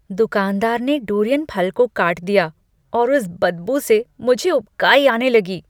दुकानदार ने डुरियन फल को काट दिया और उस बदबू से मुझे उबकाई आने लगी।